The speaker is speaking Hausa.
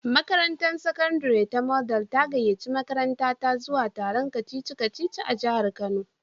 Makarantar sakandare ta Model ta gayyaci makarantata zuwa taron kacici-kaci a jihar kano.